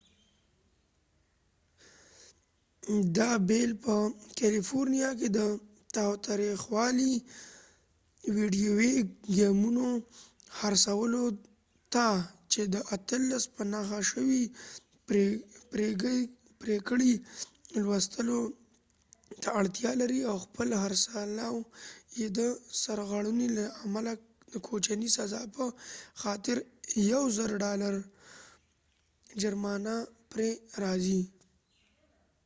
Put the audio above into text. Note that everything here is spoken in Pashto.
دا بیل په کالیفورنیا کې د تاوتریخوالي ویډیویي ګیمونو خرڅولو ته چې د 18 په نښه شوي پرېکړې لوستلو ته اړتیا لري او خپل خرڅلاو یې د سرغړونې له امله د کوچنۍ سزا په خاطر د 1000 ډالر جرمانه پرې راځي